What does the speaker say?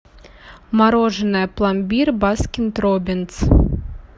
мороженое пломбир баскин роббинс